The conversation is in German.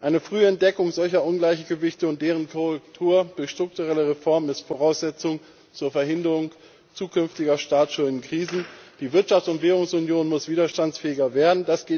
Eine frühe Entdeckung solcher Ungleichgewichte und deren Korrektur durch strukturelle Reformen ist Voraussetzung der Verhinderung zukünftiger Staatsschuldenkrisen. Die Wirtschafts und Währungsunion muss widerstandsfähiger werden.